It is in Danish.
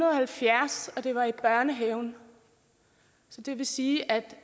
halvfjerds og det var i børnehaven så det vil sige at